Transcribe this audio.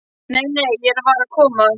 Nei, nei, ég var að koma.